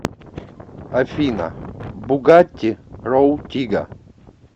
афина бугатти роу тига